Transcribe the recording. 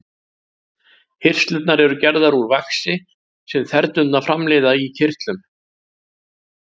Hirslurnar eru gerðar úr vaxi sem þernurnar framleiða í kirtlum.